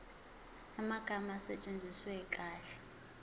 amagama asetshenziswe kahle